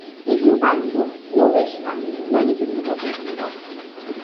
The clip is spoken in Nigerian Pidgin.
if you buy food no waste am many people no get enough